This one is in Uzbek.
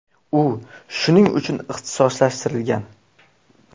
U shuning uchun ixtisoslashtirilgan.